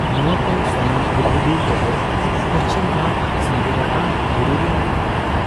ᱱᱚᱣᱟ ᱠᱚ ᱥᱟᱱᱟᱢ ᱦᱩᱫᱦᱩᱫᱤ ᱠᱚᱫᱚ ᱯᱩᱪᱷᱤᱢᱜᱷᱟᱴ ᱥᱟᱸᱜᱮᱨᱟᱛᱟᱝ ᱵᱩᱨᱩ ᱨᱮ ᱢᱮᱱᱟᱜ ᱟᱠᱟᱫᱟ ᱾